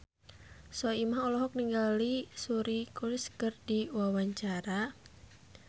Soimah olohok ningali Suri Cruise keur diwawancara